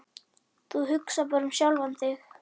Þú hugsar bara um sjálfan þig.